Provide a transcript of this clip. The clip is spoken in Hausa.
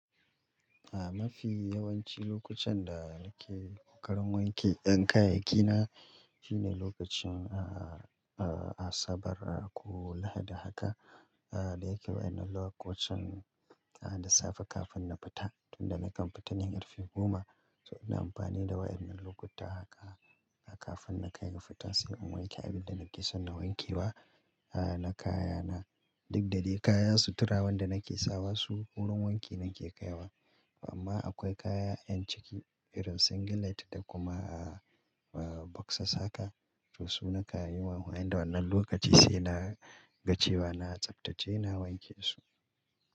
A mafi yawanci lokucan da nake karin wanke ƴan kayayyaki na shine lokacin a-a-a asabar ko lahadi haka. Da yake wa'inan lokacin da safe kafin na fita tunda nakan fitane ƙar fe goma. To ina amfani da wa'ennan lokuta haka kafin na kai ga fita sai in wanke abinda nake son na wanke wa na kaya na. Duk da dai kaya suturawan da nake sawa su wurin wanki nake kaiwa. Amma akwai kaya yan ciki irin singlet da kuma a-a boxas haka to su na kayi wa amfani da wannan lokaci sai na ga cewa na tsaftace na wanke su.